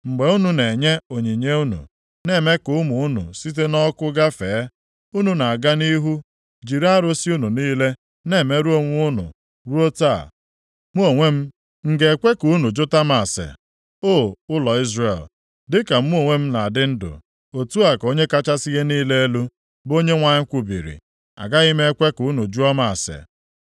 Mgbe unu na-enye onyinye unu, na-eme ka ụmụ unu site nʼọkụ gafee, unu na-aga nʼihu jiri arụsị unu niile na-emerụ onwe unu ruo taa. Mụ onwe m, m ga-ekwe ka unu jụta m ase, O ụlọ Izrel? Dịka mụ onwe m na-adị ndụ, otu a ka Onye kachasị ihe niile elu, bụ Onyenwe anyị kwubiri, agaghị m ekwe ka unu jụọ m ase.